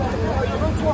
Bir yerdən çoxdur.